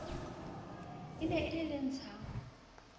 ne e le le ntshang